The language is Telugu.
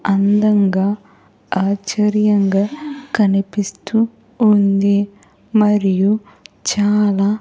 అందంగా ఆశ్చర్యంగా కనిపిస్తూ ఉంది మరియు చాలా.